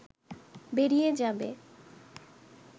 বেরিয়ে যাবে